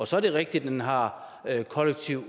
så er det rigtigt at den har kollektiv